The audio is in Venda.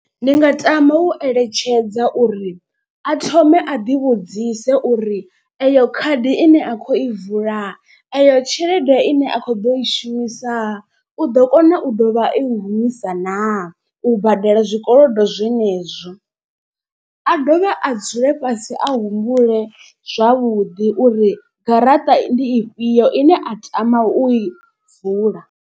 Ndi nga tama u eletshedza uri a thome a ḓi vhudzise uri eyo khadi ine a kho i vula, eyo tshelede ine a kho ḓo i shumisa u ḓo kona u dovha ai humisa naa. U badela zwikolodo zwenezwi a dovhe a dzule fhasi a humbule zwavhuḓi uri garaṱa ndi ifhio ine a tama u i vula.